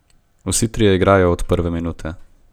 Vsi trije igrajo od prve minute.